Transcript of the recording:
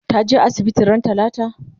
ta je asibiti ran talata?